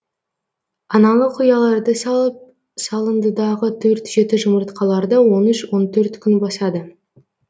аналық ұяларды салып салындыдағы төрт жеті жұмыртқаларды он үш он төрт күн басады